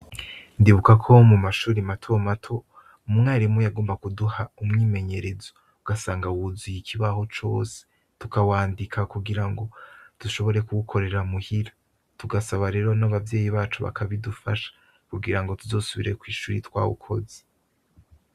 Ndibuka ko mu mashure matomato, umwarimu yagomba kuduha umwimenyerezo, ugasanga wuzuye ikibaho cose, tukawandika kugirango dushobore kuwukorera muhira. Tugasaba rero n'abavyeyi bacu bakabidufasha kugirango tuzosubire kw'ishure twawukoze.